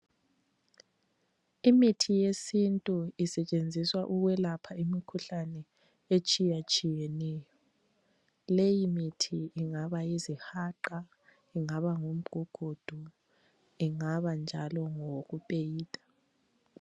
Imithi yesintu isetshenziswa ukwelapha imikhuhlane etshiyatshiyeneyo leyimithi ingaba yizihaqa ingaba ngumgugundu ingaba njalo ngokupeyida.